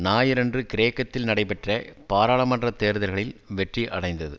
ஞாயிறன்று கிரேக்கத்தில் நடைபெற்ற பாராளுமன்ற தேர்தல்களில் வெற்றி அடைந்தது